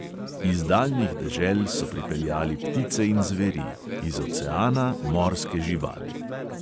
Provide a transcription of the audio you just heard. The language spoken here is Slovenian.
Iz daljnih dežel so pripeljali ptice in zveri, iz oceana morske živali.